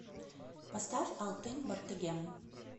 поставь алтын бортегем